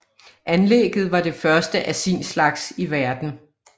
Anlægget var det første af sin slags i verden